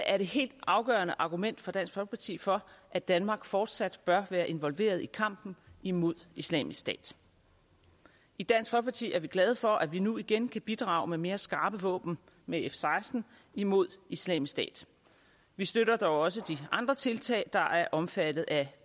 er det helt afgørende argument fra dansk folkeparti for at danmark fortsat bør være involveret i kampen imod islamisk stat i dansk folkeparti er vi glade for at vi nu igen kan bidrage med mere skarpe våben med f seksten imod islamisk stat vi støtter dog også de andre tiltag der er omfattet af